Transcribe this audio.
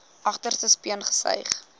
agterste speen gesuig